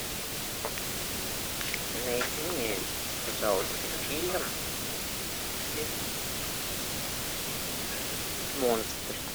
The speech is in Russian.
найди мне пожалуйста фильм монстр